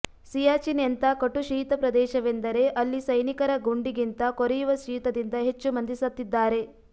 ಸಿಯಾಚಿನ್ ಎಂಥ ಕಟು ಶೀತ ಪ್ರದೇಶವೆಂದರೆ ಅಲ್ಲಿ ಸೈನಿಕರ ಗುಂಡಿಗಿಂತ ಕೊರೆಯುವ ಶೀತದಿಂದ ಹೆಚ್ಚು ಮಂದಿ ಸತ್ತಿದ್ದಾರೆ